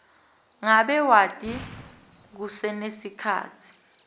ngabe wati kusenesikhatsi